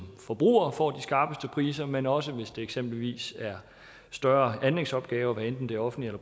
forbrugere får de skarpeste priser men også hvis det eksempelvis er større anlægsopgaver hvad enten det er offentlige